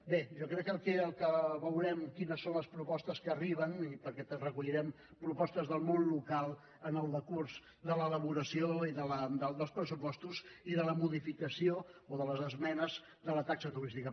bé jo crec aquí veurem quines són les propostes que arriben perquè recollirem propostes del món local en el decurs de l’elaboració dels pressupostos i de la modificació o de les esmenes de la taxa turística